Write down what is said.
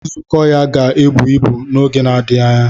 Nzukọ ya ga-ebu ibu n'oge na-adịghị anya.